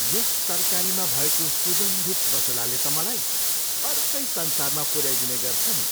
यस तरकारीमा भएको सुगन्धित मसलाले त मलाई अर्कै संसारमा पुऱ्याइदिने गर्छ नि।